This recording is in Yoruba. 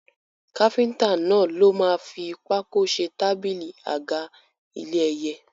Káfíntà náà ló máa fi pákó ṣe tábílì, àga, ilé ẹyẹ.